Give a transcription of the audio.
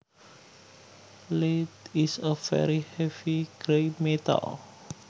Lead is a very heavy gray metal